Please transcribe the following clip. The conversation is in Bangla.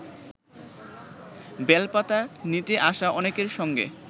বেলপাতা নিতে আসা অনেকের সঙ্গে